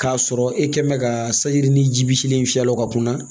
K'a sɔrɔ e kɛ mɛ ka sayi ji bi silen fiyɛ o ka kunna